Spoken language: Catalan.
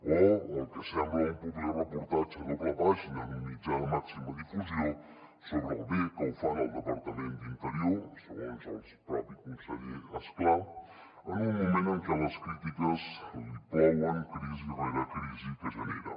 o el que sembla un publireportatge a doble pàgina en un mitjà de màxima difusió sobre com de bé ho fan al departament d’interior segons el propi conseller és clar en un moment en què les crítiques li plouen crisi rere crisi que genera